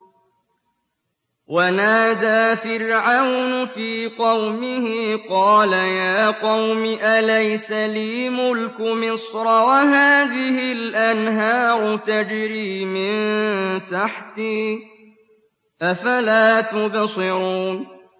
وَنَادَىٰ فِرْعَوْنُ فِي قَوْمِهِ قَالَ يَا قَوْمِ أَلَيْسَ لِي مُلْكُ مِصْرَ وَهَٰذِهِ الْأَنْهَارُ تَجْرِي مِن تَحْتِي ۖ أَفَلَا تُبْصِرُونَ